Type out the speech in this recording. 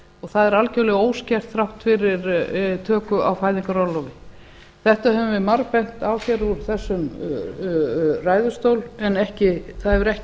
og það er algjörlega óskert þrátt fyrir töku á fæðingarorlofi þetta höfum við margbent á hér úr þessum ræðustóli en það hefur ekki